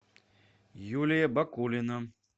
юлия бакулина